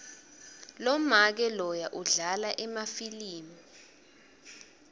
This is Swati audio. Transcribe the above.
lomake loya udlala emafilimu